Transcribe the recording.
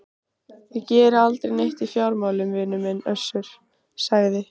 Ég geri aldrei neitt í fjármálum vinur minn Össur, sagði